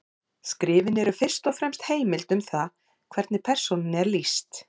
Skrifin eru fyrst og fremst heimild um það hvernig persónunni er lýst.